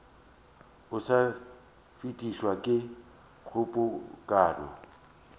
o sa fetišwe ke kgobokano